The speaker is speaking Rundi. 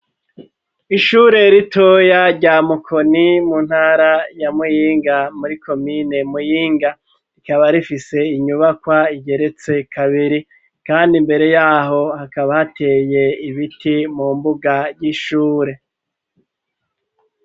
Ishure ritoya rya mukoni mu ntara ya muyinga muri komine muyinga rikaba rifise inyubakwa igeretse kabiri, kandi imbere yaho hakaba hateye ibiti mu mbuga ry'ishure.